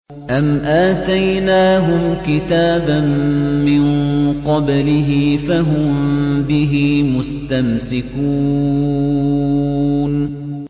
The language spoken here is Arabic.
أَمْ آتَيْنَاهُمْ كِتَابًا مِّن قَبْلِهِ فَهُم بِهِ مُسْتَمْسِكُونَ